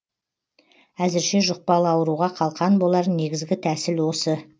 әзірше жұқпалы ауруға қалқан болар негізгі тәсіл осы